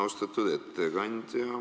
Austatud ettekandja!